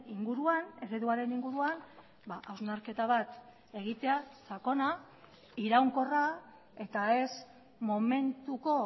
inguruan ereduaren inguruan hausnarketa bat egitea sakona iraunkorra eta ez momentuko